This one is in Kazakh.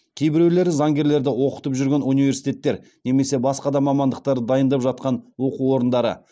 кейбіреулері заңгерлерді оқытып жүрген университеттер немесе басқа да мамандықтарды дайындап жатқан оқу орындары